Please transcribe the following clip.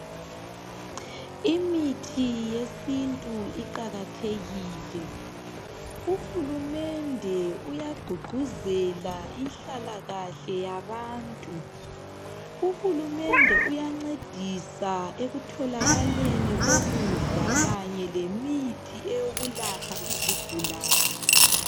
Imithi yesintu iqakathekile. Uhulumende uyagqugquzela inhlakahle yabantu. Uhulumende uyancedisa ekutholakaleni kokukudla kanye lemithi eyokulapha izigulane